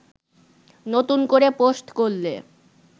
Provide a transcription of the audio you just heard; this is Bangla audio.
নতুন করে পোস্ট করলে